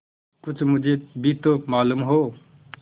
कुछ मुझे भी तो मालूम हो